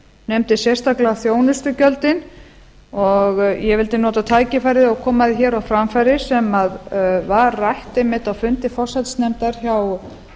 nefndi sérstaklega þjónustugjöldin og ég vildi nota tækifærið og koma því hér á framfæri sem var rætt einmitt á fundi forsætisnefndar hjá